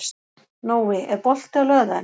Nói, er bolti á laugardaginn?